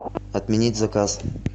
отменить заказ